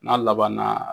N'a laban na